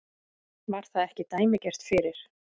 Var það ekki dæmigert fyrir